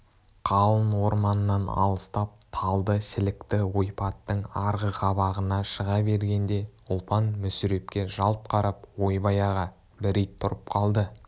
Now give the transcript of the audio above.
қалың орманнан алыстап талды-шілікті ойпаттың арғы қабағына шыға бергенде ұлпан мүсірепке жалт қарап ойбай аға бір ит тұрып қалды